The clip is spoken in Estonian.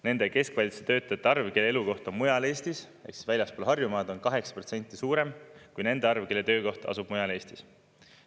Nende keskvalitsuse töötajate arv, kelle elukoht on mujal Eestis, väljaspool Harjumaad, on 8% suurem kui nende arv, kelle töökoht asub mujal Eestis.